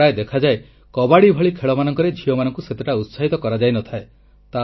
ପ୍ରାୟ ଦେଖାଯାଏ କବାଡ଼ି ଭଳି ଖେଳମାନଙ୍କରେ ଝିଅମାନଙ୍କୁ ସେତେଟା ଉତ୍ସାହିତ କରାଯାଇନଥାଏ